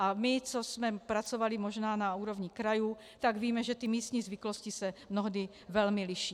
A my, co jsme pracovali možná na úrovni krajů, tak víme, že ty místní zvyklosti se mnohdy velmi liší.